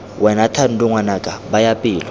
wena thando ngwanaka baya pelo